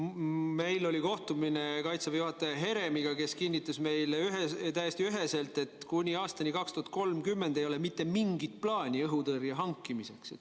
Meil oli kohtumine Kaitseväe juhataja Heremiga, kes kinnitas meile täiesti üheselt, et kuni aastani 2030 ei ole mitte mingit plaani õhutõrje hankimiseks.